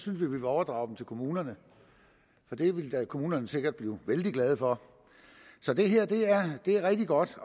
vi vil overdrage dem til kommunerne det ville kommunerne sikkert blive vældig glade for så det her er rigtig godt